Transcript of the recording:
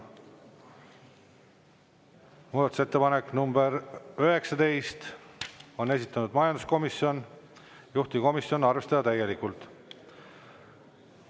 Muudatusettepanek nr 19, on esitanud majanduskomisjon, juhtivkomisjon: arvestada täielikult.